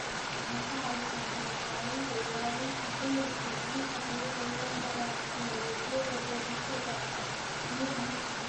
Waxay ka caawisaa kor u qaadida ilaalinta khayraadka biyaha iyada oo loo marayo tignoolajiyada goosashada biyaha roobka.